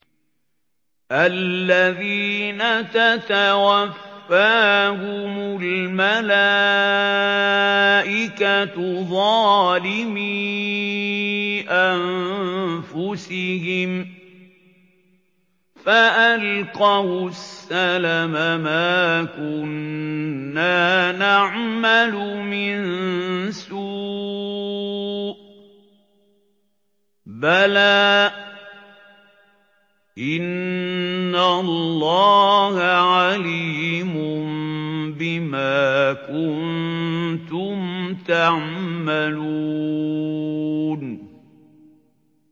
الَّذِينَ تَتَوَفَّاهُمُ الْمَلَائِكَةُ ظَالِمِي أَنفُسِهِمْ ۖ فَأَلْقَوُا السَّلَمَ مَا كُنَّا نَعْمَلُ مِن سُوءٍ ۚ بَلَىٰ إِنَّ اللَّهَ عَلِيمٌ بِمَا كُنتُمْ تَعْمَلُونَ